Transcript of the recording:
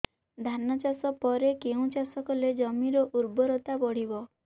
ଧାନ ଚାଷ ପରେ କେଉଁ ଚାଷ କଲେ ଜମିର ଉର୍ବରତା ବଢିବ